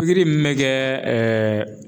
min bɛ kɛ .